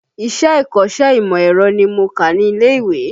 Ìṣe ikọ́sẹ́ ìmọ̀ ẹ̀rọ ni mo kà ní ilé ìwé